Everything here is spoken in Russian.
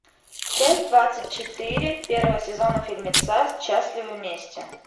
часть двадцать четыре первого сезона фильмеца счастливы вместе